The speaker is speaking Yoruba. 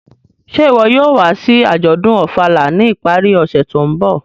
Ṣe iwọ yóò wa si ajọdun Ofala ni ipari ọse to nbọ?